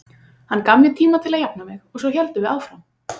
Hann gaf mér tíma til að jafna mig og svo héldum við áfram.